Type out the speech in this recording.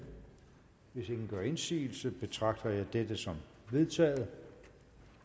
hvis ingen gør indsigelse betragter jeg dette som vedtaget